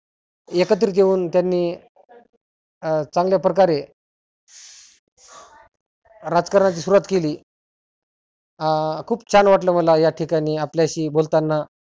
एकत्रीत येऊन त्यांनी अं चांगल्या प्रकारे राजकारणाची सुरुवात केली. अं खुप छान वाटलं मला या ठिकाणी आपल्याशी बोलताना.